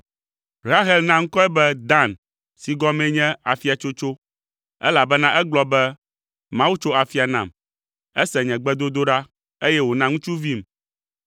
Rahel na ŋkɔe be Dan si gɔmee nye “Afiatsotso,” elabena egblɔ be, “Mawu tso afia nam, ese nye gbedodoɖa, eye wòna ŋutsuvim.”